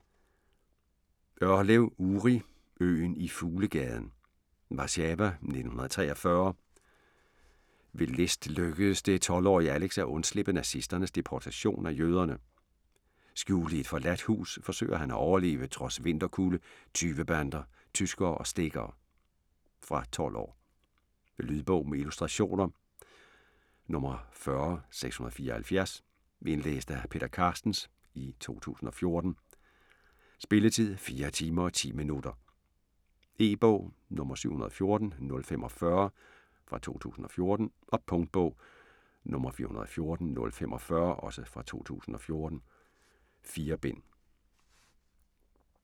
Orlev, Uri: Øen i Fuglegaden Warszawa 1943. Ved list lykkes det 12-årige Alex at undslippe nazisternes deportation af jøderne. Skjult i et forladt hus forsøger han at overleve trods vinterkulde, tyvebander, tyskere og stikkere. Fra 12 år. Lydbog med illustrationer 40674 Indlæst af Peter Carstens, 2014. Spilletid: 4 timer, 10 minutter. E-bog 714045 2014. Punktbog 414045 2014. 4 bind.